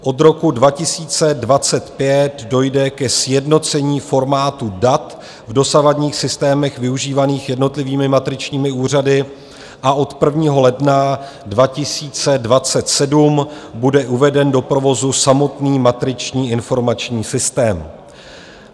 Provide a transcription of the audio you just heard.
Od roku 2025 dojde ke sjednocení formátu dat v dosavadních systémech využívaných jednotlivými matričními úřady a od 1. ledna 2027 bude uveden do provozu samotný matriční informační systém.